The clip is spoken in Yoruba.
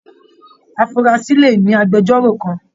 Afurasi le ní agbẹ̀jọ́ro kàn.